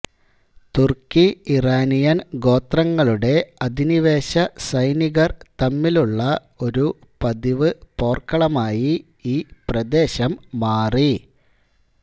തുർക്കി ഇറാനിയൻ ഗോത്രങ്ങളുടെ അധിനിവേശ സൈനികർ തമ്മിലുള്ള ഒരു പതിവ് പോർക്കളമായി ഈ പ്രദേശം മാറി